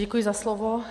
Děkuji za slovo.